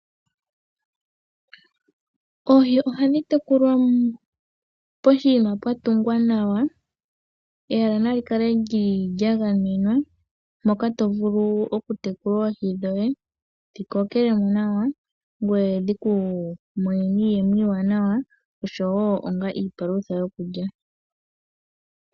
Oohi ohadhi tekulwa poshiima pwa tungwa nawa, ehala na likale lya gamenwa moka to vulu okutekula oohi dhoye dhi kokele mo nawa ngoye dhi ku monene iiyemo iiwanawa osho woo onga iipalutha yokulya.